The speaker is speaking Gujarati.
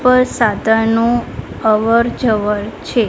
નુ અવરજવર છે.